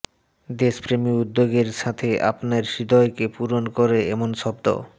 দেশপ্রেমী উদ্যোগের সাথে আপনার হৃদয়কে পূরণ করে এমন শব্দ